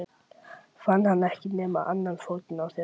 Fann hann ekki nema annan fótinn á þér?